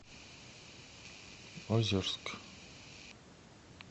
озерск